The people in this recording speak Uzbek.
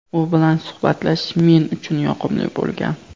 U bilan suhbatlashish men uchun yoqimli bo‘lgan.